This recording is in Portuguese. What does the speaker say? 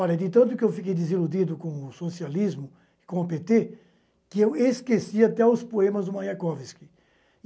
Olha, de tanto que eu fiquei desiludido com o socialismo, com o pê tê, que eu esqueci até os poemas do Mayakovsky.